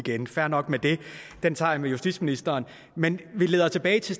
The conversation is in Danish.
igen fair nok med det den tager jeg med justitsministeren men det leder tilbage til